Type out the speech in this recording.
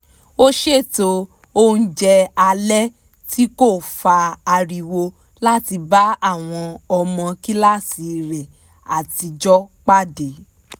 ó ṣètò oúnjẹ alẹ́ tí kò fa ariwo láti bá àwọn ọmọ kíláàsì rẹ̀ àtijọ́ pàdé